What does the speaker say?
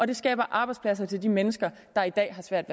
det skaber arbejdspladser til de mennesker der i dag har svært